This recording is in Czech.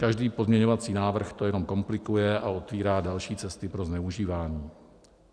Každý pozměňovací návrh to jenom komplikuje a otevírá další cesty pro zneužívání.